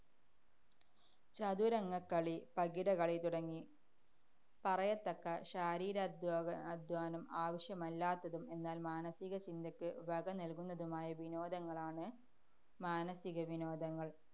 ചതുരംഗക്കളി, പകിടകളി തുടങ്ങി പറയത്തക്ക ശാരീരധ്വാനം~ അധ്വാനം ആവശ്യമില്ലാത്തതും, എന്നാല്‍ മാനസിക ചിന്തയ്ക്ക് വകനല്കുന്നതുമായ വിനോദങ്ങളാണ് മാനസിക വിനോദങ്ങള്‍.